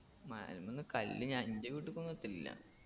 മലമ്മന്ന് കല്ല് ഞ എൻറെ വീട്ടിക്കൊന്നു എത്തലില്ല